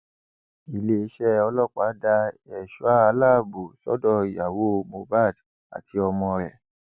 iléeṣẹ ọlọpàá da ẹṣọ aláàbọ sọdọ ìyàwó mohbad àti ọmọ rẹ